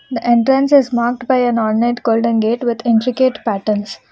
The entrance is marked by a golden gate with intricate patterns.